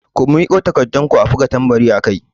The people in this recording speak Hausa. Ku miƙo takarɗun ku a buga tambari akai!